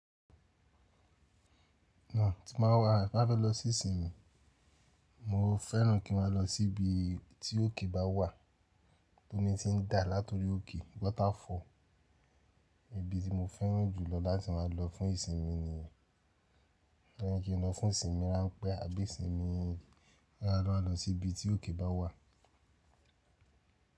Na tí máa wà, bá fẹ́ lọ sí ìsinmi, mo fẹ́ràn kí máa lọ sí ibi tí òkè bá wà, tó mi ti ń dà latori òkè ibi tí mo fẹ́ràn jù lọ láti má a lọ fún ìsinmi ni, leyin kí n lọ fún ìsinmi ránpẹ́ àbí ìsinmi lára lọ sí ibi tí òkè bá wà.